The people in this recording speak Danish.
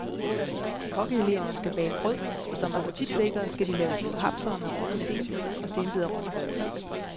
Kokkeeleverne skal bage brød og som appetitvækkere skal de lave små hapsere med røget stenbider og stenbiderrogn.